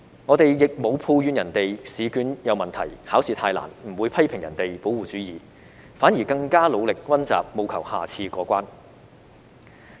我們亦沒有抱怨別人的試卷有問題、考試太難，不會批評別人保護主義，反而更加努力溫習，務求下次過關。